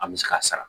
An bɛ se ka sara